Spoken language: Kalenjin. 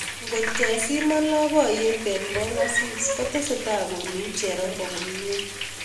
Ngotkesimaan lapkeiyet eng kong'asiis kotesetai koluuu cherongo komie